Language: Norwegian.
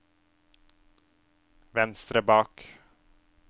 venstre bak